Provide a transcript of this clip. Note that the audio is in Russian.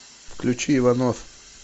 включи иванов